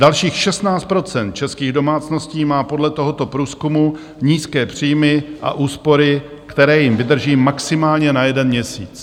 Dalších 16 % českých domácností má podle tohoto průzkumu nízké příjmy a úspory, které jim vydrží maximálně na jeden měsíc.